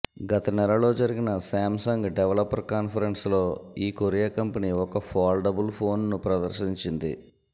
గత నెలలో జరిగిన శాంసంగ్ డెవలపర్ కాన్ఫరెన్స్ లో ఈ కొరియా కంపెనీ ఒక ఫోల్డబుల్ ఫోన్ ను ప్రదర్శించింది